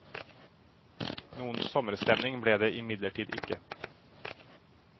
Noen sommerstemning ble det imidlertid ikke.